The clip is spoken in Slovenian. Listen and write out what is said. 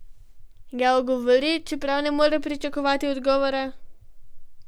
Ga ogovori, čeprav ne more pričakovati odgovora?